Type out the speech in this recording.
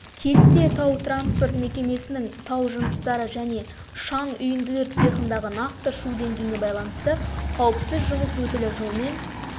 кесте тау-транспорт мекемесінің тау жыныстары және шаң үйінділер цехындағы нақты шу деңгейіне байланысты қауіпсіз жұмыс өтілі жылмен